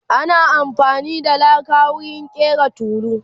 ana afani da laka wurin ƙera tulu